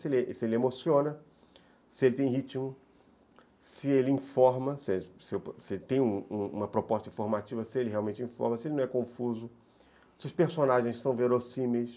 Se ele ele emociona, se ele tem ritmo, se ele informa, se ele tem uma proposta informativa, se ele realmente informa, se ele não é confuso, se os personagens são verossímeis,